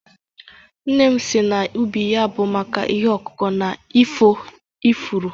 Nne m siri na ubi ya bụ maka ihe ọkụkụ na efu ifuru